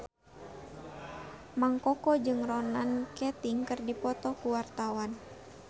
Mang Koko jeung Ronan Keating keur dipoto ku wartawan